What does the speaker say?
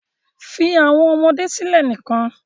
Fi awọn ọmọde silẹ nikan